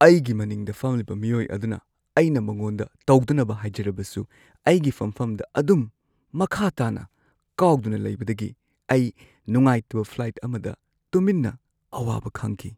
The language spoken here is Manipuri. ꯑꯩꯒꯤ ꯃꯅꯤꯡꯗ ꯐꯝꯂꯤꯕ ꯃꯤꯑꯣꯏ ꯑꯗꯨꯅ ꯑꯩꯅ ꯃꯉꯣꯟꯗ ꯇꯧꯗꯅꯕ ꯍꯥꯏꯖꯔꯕꯁꯨ ꯑꯩꯒꯤ ꯐꯝꯐꯝꯗ ꯑꯗꯨꯝ ꯃꯈꯥ ꯇꯥꯅ ꯀꯥꯎꯗꯨꯅ ꯂꯩꯕꯗꯒꯤ ꯑꯩ ꯅꯨꯡꯉꯥꯏꯇꯕ ꯐ꯭ꯂꯥꯏꯠ ꯑꯃꯗ ꯇꯨꯃꯤꯟꯅ ꯑꯋꯥꯕ ꯈꯥꯡꯈꯤ꯫